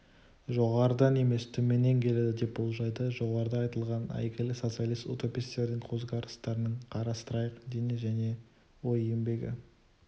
жоғарыдан емес төменнен келеді деп болжайды жоғарыда айтылған әйгілі социалист-утопистердің көзқарастарын қарастырайық дене және ой еңбегі